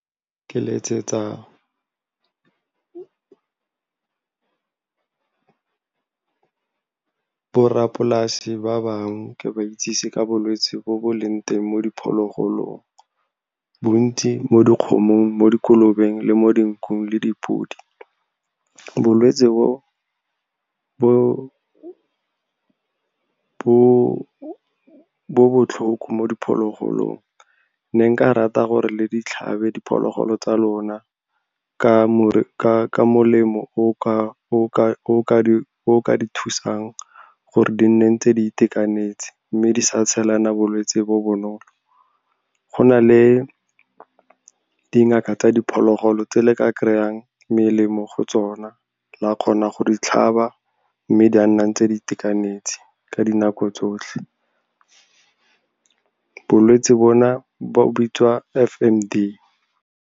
Ke letsetsa borrapolase ba bangwe, ke ba itsise ka bolwetse bo bo leng teng mo diphologolong, bontsi mo dikgomong, mo dikolobeng, le mo dinkung le dipodi. Bolwetsi bo, bo botlhoko mo diphologolong. Ne nka rata gore le ditlhabe diphologolo tsa lona ka molemo o o ka di thusang gore di nne ntse di itekanetse mme di sa tshelana bolwetse bo bonolo. Go na le dingaka tsa diphologolo tse le ka kry-ang melemo go tsona, la kgona go ditlhaba mme di a nna ntse di itekanetse ka dinako tsotlhe. Bolwetse bo na bo bitswa F_M_D.